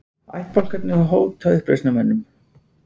Ættbálkar hóta uppreisnarmönnum